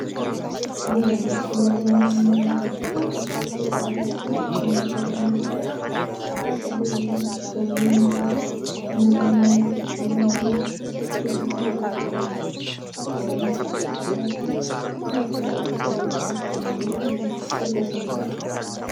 ይህ በምስሉ ላይ የምንመለከተው ዕፅዋት ነው። ይህ ዕጽዋት ጥቅል ጎመን ይባላል። እና እንደምንመለከተው ሰፊ ቦታ ላይ የተለማ ዕጽዋት ነው። እና የተለያዩ ገቢዎችን ያስገኝልናል ማለት ነው። ጥቅል ጎመን ይባላል።